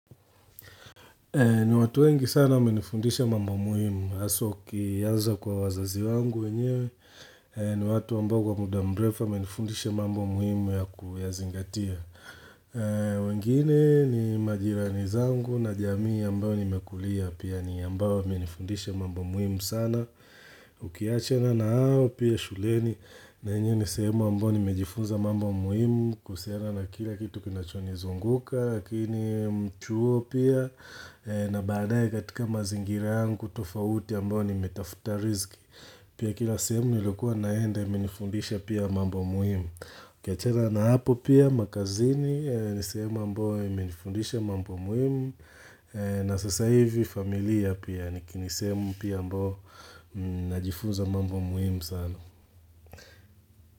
Ni watu wengi sana wame nifundisha mambo muhimu, haswa kiaza kwa wazazi wangu wenyewe, ni watu ambao wa muda mrefu wamenifundisha mambo muhimu ya kuyazingatia wengine ni majirani zangu na jamii ambayo nimekulia pia ni ambayo wame nifundisha mambo muhimu sana Ukiachana na hao pia shuleni na enyewe nisehemu ambayo nimejifunza mambo muhimu kusina na kila kitu kinachoni zunguka Lakini mchuo pia na baadae katika mazingira yangu tofauti ambao ni metafuta rizki Pia kila sehemu nilikuwa naende minifundisha pia mambo muhimu ukiachana na hapo pia makazini nisehemu ambao imenifundisha mambo muhimu na sasa hivi familia pia nikini sehemu pia ambao najifunza mambo muhimu sana.